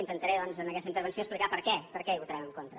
intentaré doncs en aquesta intervenció explicar per què per què hi votarem en contra